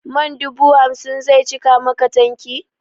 Man dubu hamsin zai cika maka tanki?